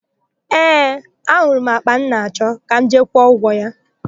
Ee, ahụrụ m àkpà m na-achọ; ka m jee kwụọ ụgwọ ya.